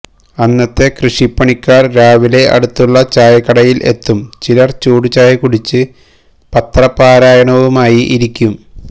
അന്നത്തെ കൃഷിപ്പണിക്കാര് രാവിലെ അടുത്തുള്ള ചായക്കടയില് എത്തും ചിലര് ചൂടുചായ കുടിച്ച് പത്രപാരായണവുമായി ഇരിക്കും